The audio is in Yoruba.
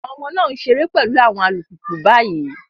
Àwọn ọmọ náà ń ṣeré pẹ̀lú àwọn alùpùpù báyìí.